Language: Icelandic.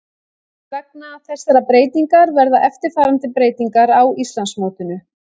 Vegna þessarar breytingar verða eftirfarandi breytingar á Íslandsmótinu: